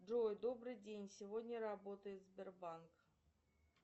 джой добрый день сегодня работает сбербанк